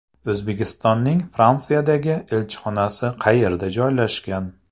O‘zbekistonning Fransiyadagi elchixonasi qayerda joylashgan?